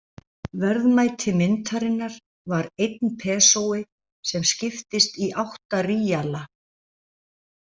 Verðmæti myntarinnar var einn pesói sem skiptist í átta ríala.